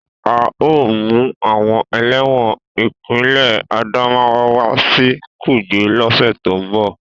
A o mu awon ẹlẹ́wọ̀n ipinle Adamawa wa si kuje lose to n bo.